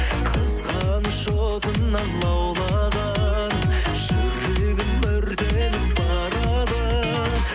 қызғаныш отынан лаулаған жүрегім өртеніп барады